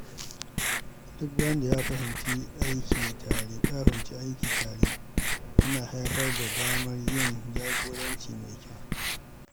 Duk wanda ya fahimci aiki tare yana haifar da damar yin jagoranci mai kyau.